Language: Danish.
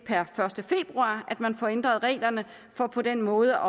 per første februar at man får ændret reglerne for på den måde